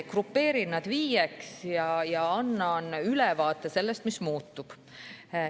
Grupeerin nad viieks ja annan ülevaate sellest, mis muutub.